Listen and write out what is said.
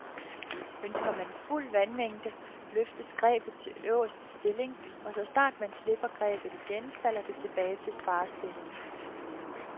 Ønsker man fuld vandmængde, løftes grebet til øverste stilling, og så snart man slipper grebet igen, falder det tilbage til sparestilling.